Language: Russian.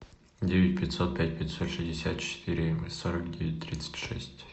девять пятьсот пять пятьсот шестьдесят четыре сорок девять тридцать шесть